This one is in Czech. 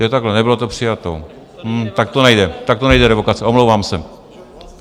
Jo, takhle, nebylo to přijato, tak to nejde, tak to nejde revokace, omlouvám se.